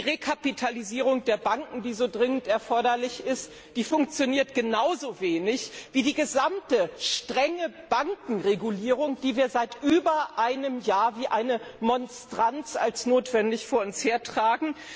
Die Rekapitalisierung der Banken, die so dringend erforderlich ist, funktioniert genauso wenig wie die gesamte strenge Bankenregulierung, die wir seit über einem Jahr wie eine Monstranz als notwendig vor uns hertragen.